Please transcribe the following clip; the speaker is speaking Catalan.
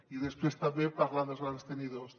i després també parlar dels grans tenidors